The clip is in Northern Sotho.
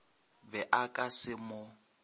be a ka se mo